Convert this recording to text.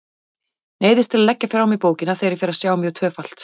Neyðist til að leggja frá mér bókina þegar ég fer að sjá mjög tvöfalt.